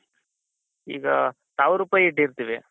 ಈಗ ಸಾವಿರ ರೂಪಾಯಿ ಇಟ್ಟಿರ್ತೀವಿ.